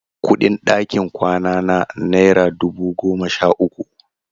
Kuɗin ɗakin kwanana naira dubu goma sha uku.